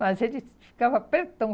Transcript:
Mas ele ficava pretão.